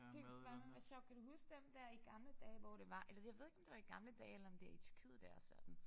Det kunne sørme være sjovt kan du huske dem der i gamle dage hvor det var eller jeg ved ikke om det var i gamle dage eller om det i Tyrkiet det er sådan